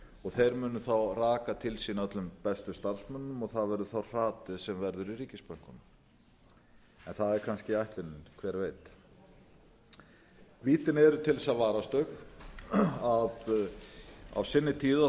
og þeir munu þá raka til sín öllum bestu starfsmönnunum og það verður þá hratið sem verður í ríkisbönkunum en það er kannski ætlunin hver veit vítin eru til þess að varast þau á sinni